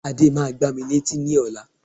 Ade máa gbá mi ní etí ní ọ̀la